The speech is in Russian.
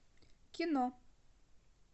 кино